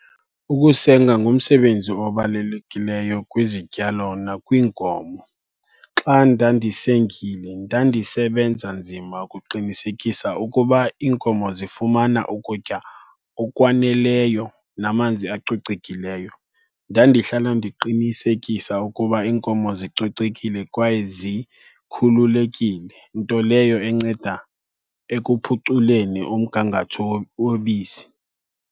Ukusenga ngumsebenzi obalulekileyo kwizityalo nakwiinkomo. Xa ndandisengile ndandisebenza nzima ukuqinisekisa ukuba iinkomo zifumana ukutya okwaneleyo namanzi acocekileyo. Ndandihlala ndiqinisekisa ukuba iinkomo zicocekile kwaye zikhululekile, nto leyo enceda ekuphuculeni umgangatho wobisi.